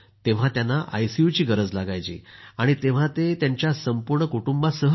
त्यांना आयसीयूची गरज लागे आणि तेंव्हा ते त्यांच्या संपूर्ण कुटुंबासह येत